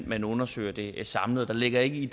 man undersøger det samlet og der ligger ikke i